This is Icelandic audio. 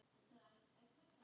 Það hafði engin áhrif.